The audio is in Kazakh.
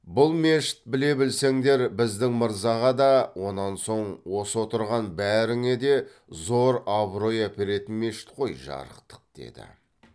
бұл мешіт біле білсеңдер біздің мырзаға да онан соң осы отырған бәріңе де зор абырой әперетін мешіт қой жарықтық деді